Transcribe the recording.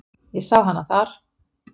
Ég sá hana þar.